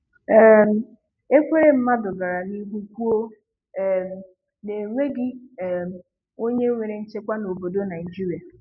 um Ekweremadu gara n'ihu kwuo um na onweghi um onye nwere nchekwa n'obodo Naịjirịa.